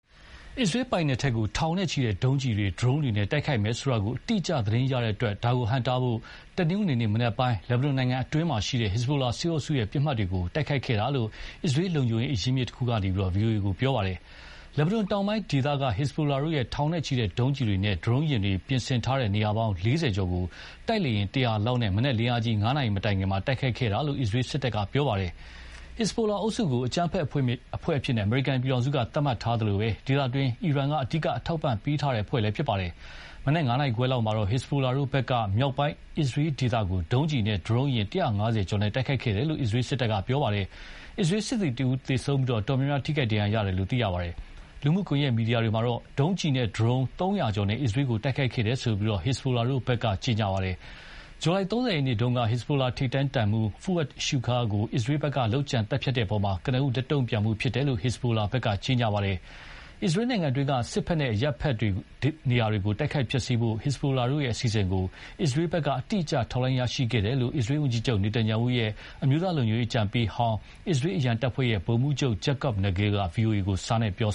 အစ္စရေးပိုင်နက်ထဲကို ထောင်နဲ့ချီတဲ့ ဒုံးကျည်တွေ၊ ဒရုန်းတွေနဲ့ တိုက်ခိုက်မယ်ဆိုတာ အတိအကျသတင်းရတဲ့ အတွက် ဒါကိုဟန့်တားဖို့၊ တနင်္ဂနွေနေ့ မနက်ပိုင်း လက်ဘနွန်နိုင်ငံအတွင်းက ဟက်ဇ်ဘိုလာအုပ်စုပစ်မှတ်တွေကို တိုက်ခိုက်ခဲ့တာလို့ အစ္စရေးလုံခြုံရေးအရင်းအမြစ်တခုက ဗွီအိုအေကို ပြောပါတယ်။ လက်ဘနွန်တောင်ပိုင်းဒေသက ဟက်ဇ်ဘိုလာတို့ရဲ့ ထောင်နဲ့ချီတဲ့ဒုံးကျည်တွေနဲ့ ဒရုန်းယာဉ်တွေပြင်ဆင်ထားတဲ့ နေရာပေါင်း ၄၀ ကျော်ကို တိုက်လေယဉ် ၁၀၀ လောက်နဲ့ မနက်လင်းအားကြီး ၅ နာရီမတိုင်ခင် တိုက်ခိုက်ခဲ့တယ် လို့ အစ္စရေးစစ်တပ်က ပြောပါတယ်။ ဟက်ဇ်ဘိုလာအုပ်စုကို အကြမ်းဖက်အဖွဲ့အဖြစ် အမေရိကန်ပြည်ထောင်စု က သတ်မှတ်ထားသလို ဒေသတွင်းမှာ အီရန်က အဓိက အထောက်အပံ့ပေးထားတဲ့အဖွဲ့လည်းဖြစ်ပါတယ်။ မနက် ၅ နာရီခွဲလောက်မှာတော့ ဟက်ဇ်ဘိုလာတို့ဘက်က မြောက်ပိုင်းအစ္စရေးဒေသကို ဒုံးကျည်နဲ့ ဒရုန်းယာဉ် ၁၅၀ ကျော်နဲ့ တိုက်ခိုက်ခဲ့တယ်လို့ အစ္စရေးစစ်ဘက်က ပြောပါတယ်။ အစ္စရေးစစ်သည်တဦးသေဆုံးပြီး အတော်များများ ဒဏ်ရာရတယ်လို့ သိရပါတယ်။ လူမှုကွန်ယက်မီဒီယာတွေမှာတော့ ဒုံးကျည်နဲ့ ဒရုန်း ၃၀၀ ကျော်နဲ့ အစ္စရေးကို တိုက်ခိုက်ခဲ့တယ်လို့ ဟက်ဇ်ဘိုလာတို့ဘက်ကကြေညာပါတယ်။ ဇူလိုင် ၃၀ ရက်နေ့က ဟက်ဇ်ဘိုလာထိပ်တန်းတပ်မှူး Fouad Shukar ကို အစ္စရေးဘက်က လုပ်ကြံသတ်ဖြတ်တဲ့အပေါ် ကနဦး လက်တုံ့ပြန်မှုဖြစ်တယ်လို့ ဟက်ဇ်ဘိုလာက ကြေညာပါတယ်။ အစ္စရေးနိုင်ငံတွင်းက စစ်ဘက်နဲ့ အရပ်ဘက်တွေကို တိုက်ခိုက်ဖျက်ဆီးဖို့ ဟက်ဇ်ဘိုလာတို့ရဲ့ အစီအစဉ်ကို အစ္စရေးဘက်ကအတိအကျ ထောက်လှမ်းရရှိခဲ့တယ်လို့ အစ္စရေးဝန်ကြီးချုပ် Netanyahu ရဲ့ အမျိုးသားလုံခြုံရေး အကြံပေးဟောင်း အစ္စရေး အရန်တပ်ဖွဲ့ ဗိုလ်မှူးချုပ် Jacob Nagel က ဗွီအိုအေကို စာနဲ့ ပြော